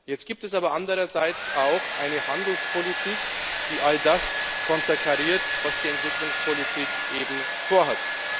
Jetzt gibt es aber andererseits auch eine Handelspolitik, die all das konterkariert, was die Entwicklungspolitik eben vorhat.